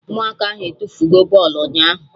Ụmụaka ahụ etufugo bọlụ ụnyaahụ